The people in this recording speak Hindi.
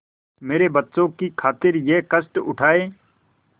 मेरे बच्चों की खातिर यह कष्ट उठायें